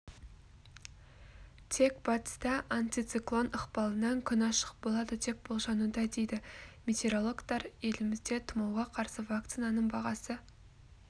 тек батыста антициклон ықпалынан күн ашық болады деп болжануда дейді метеорологтар елімізде тұмауға қарсы вакцинаның бағасы